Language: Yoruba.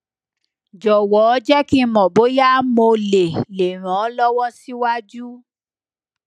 jọwọ jẹ ki n mọ boya mo le le ran ọ lọwọ siwaju